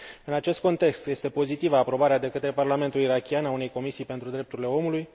În acest context, este pozitivă aprobarea de către Parlamentul irakian a unei comisii pentru drepturile omului.